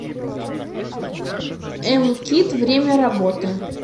эм кит время работы